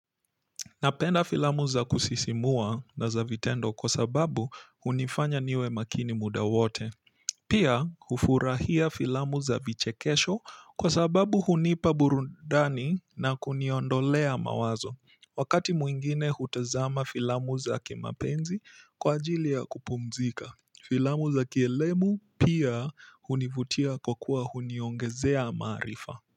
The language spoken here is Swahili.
Napenda filamu za kusisimua na za vitendo kwa sababu hunifanya niwe makini muda wote. Pia hufurahia filamu za vichekesho kwa sababu hunipa burudani na kuniondolea mawazo. Wakati mwingine hutazama filamu za kimapenzi kwa ajili ya kupumzika. Filamu za kielebu hunivutia kwa kuwa huniongezea maarifa.